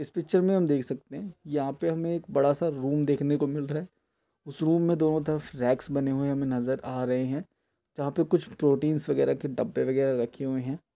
इस तस्वीर में हम देख सकते हैं । यहाँ पे हमें एक बड़ा सा रूम देखने को मिल रहा है रूम में दोनों तरफ रैक्स बने हुए नजर आ रहे हैं जहाँ पर कुछ प्रोटिन्स वगेरा के कुछ डब्बे वगेरा रखे हुए हैं।